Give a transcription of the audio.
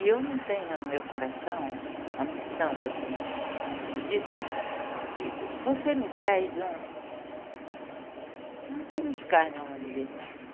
E eu não tenho no meu coração a ambição, assim, de dizer... Você me traz um... um quilo de carne, vamos dizer.